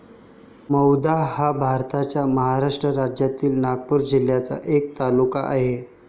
मौदा हा भारताच्या महाराष्ट्र राज्यातील नागपूर जिल्ह्याचा एक तालुका आहे.